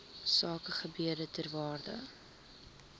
sakegebiede ter waarde